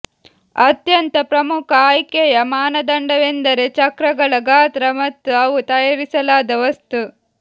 ಅತ್ಯಂತ ಪ್ರಮುಖ ಆಯ್ಕೆಯ ಮಾನದಂಡವೆಂದರೆ ಚಕ್ರಗಳ ಗಾತ್ರ ಮತ್ತು ಅವು ತಯಾರಿಸಲಾದ ವಸ್ತು